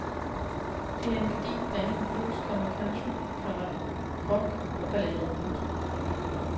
Det er en gedigen blanding af blues, komma country, komma rock og ballader. punktum